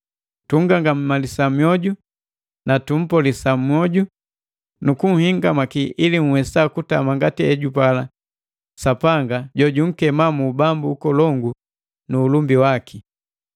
Tungangamalisa mioju, tumpolesa mwoju nu kunhingamaki ili nhwesa kutama ngati hejupala Sapanga jojunkema mu Ubambu Ukolongu nu ulumbi waki.